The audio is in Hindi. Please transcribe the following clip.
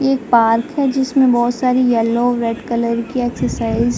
ये पार्क है जिसमें बोहोत सारी येलो रेड कलर की एक्सरसाइज --